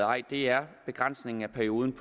ej er begrænsningen af perioden